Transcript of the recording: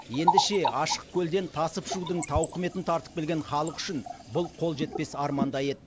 енді ше ашық көлден тасып ішудің тауқыметін тартып келген халық үшін бұл қол жетпес армандай еді